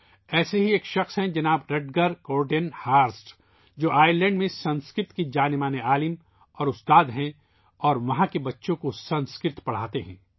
ایسے ہی ایک شخص ہیں ،جناب رٹگر کورٹن ہارسٹ ، جو آئر لینڈ میں سنسکرت کے معروف دانشور ہیں اور استاد ہیں اور وہاں بچوں کو سنسکرت پڑھاتے ہیں